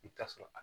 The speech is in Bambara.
I bi taa sɔrɔ a